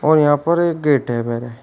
और यहां पर एक गेट है बरे --